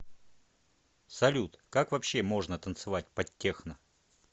салют как вообще можно танцевать под техно